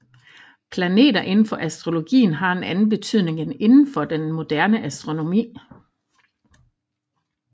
Planeter indenfor astrologien har en anden betydning end indenfor den moderne astronomi